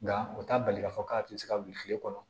Nka u t'a bali k'a fɔ k'a tɛ se ka wuli kile kɔnɔ